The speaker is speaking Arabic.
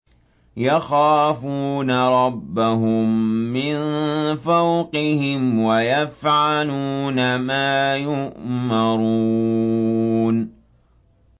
يَخَافُونَ رَبَّهُم مِّن فَوْقِهِمْ وَيَفْعَلُونَ مَا يُؤْمَرُونَ ۩